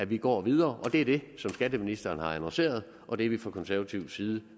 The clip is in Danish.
vi går videre og det er det som skatteministeren har annonceret og det er vi fra konservativ side